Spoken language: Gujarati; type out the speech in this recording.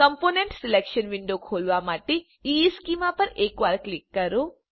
કોમ્પોનન્ટ સિલેક્શન વિન્ડો ખોલવા માટે ઇશ્ચેમાં પર એક વાર ક્લિક કરો